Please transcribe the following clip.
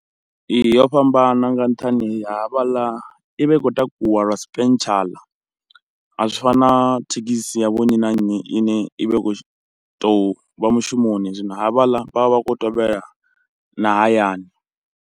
Ee yo fhambana nga nṱhani ha havhaḽa i vha i khou takuwa lwa spentshaḽa, a zwi fani na thekhisi ya vho nnyi na nnyi ine i vha i khou tou vha mushumoni zwino havhala vhavha vha khou tevhela na hayani.